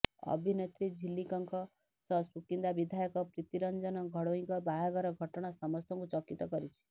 ଅଭିନେତ୍ରୀ ଝିଲିକଙ୍କ ସହ ସୁକିନ୍ଦା ବିଧାୟକ ପ୍ରୀତିରଞ୍ଜନ ଘଡ଼େଇଙ୍କ ବାହାଘର ଘଟଣା ସମସ୍ତଙ୍କୁ ଚକିତ କରିଛି